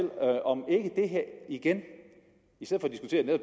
i det her igen